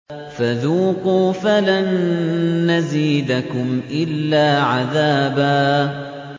فَذُوقُوا فَلَن نَّزِيدَكُمْ إِلَّا عَذَابًا